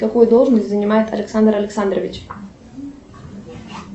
какую должность занимает александр александрович